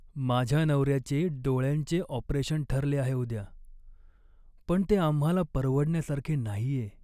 माझ्या नवऱ्याचे डोळ्यांचे ऑपरेशन ठरले आहे उद्या, पण ते आम्हाला परवडण्यासारखे नाहीये.